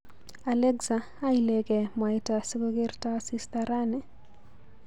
Alexa, aileke mwaita sikokerta asista rani?